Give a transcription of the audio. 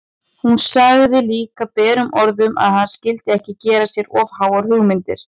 Hún sagði líka berum orðum að hann skyldi ekki gera sér of háar hugmyndir!